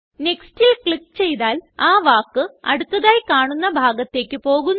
Nextല് click ചെയ്താൽ ആ വാക്ക് അടുത്തതായി കാണുന്ന ഭാഗത്തേക്ക് പോകുന്നു